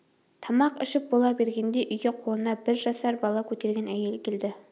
тамақ ішіп бола бергенде үйге қолына бір жасар бала көтерген әйел келді